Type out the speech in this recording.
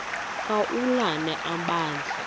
ka ulana amabandla